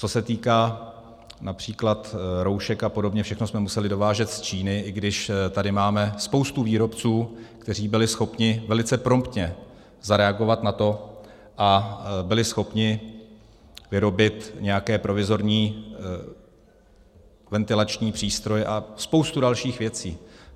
Co se týká například roušek a podobně, všechno jsme museli dovážet z Číny, i když tady máme spoustu výrobců, kteří byli schopni velice promptně zareagovat na to a byli schopni vyrobit nějaké provizorní ventilační přístroje a spoustu dalších věcí.